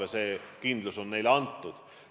Ja see kindlus on neile antud.